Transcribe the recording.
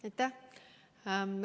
Aitäh!